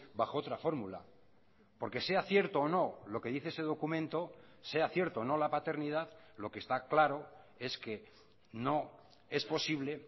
bajo otra fórmula porque sea cierto o no lo que dice ese documento sea cierto o no la paternidad lo que está claro es que no es posible